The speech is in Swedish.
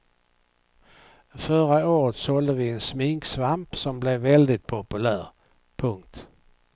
Förra året sålde vi en sminksvamp som blev väldigt populär. punkt